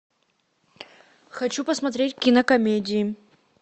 хочу посмотреть кинокомедии